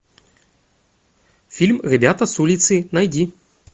фильм ребята с улицы найди